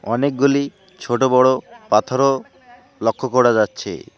অনেকগুলি ছোটো বড়ো পাথরও লক্ষ করা যাচ্ছে।